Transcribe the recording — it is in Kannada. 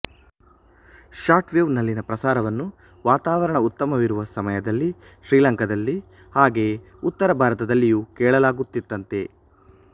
ಶಾರ್ಟ್ ವೇವ್ ನಲ್ಲಿನ ಪ್ರಸಾರವನ್ನು ವಾತಾವರಣ ಉತ್ತಮವಿರುವ ಸಮಯದಲ್ಲಿ ಶ್ರೀಲಂಕಾದಲ್ಲಿ ಹಾಗೆಯೇ ಉತ್ತರ ಭಾರತದಲ್ಲಿಯೂ ಕೇಳಲಾಗುತ್ತಿತ್ತಂತೆ